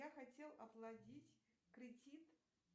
я хотел оплатить кредит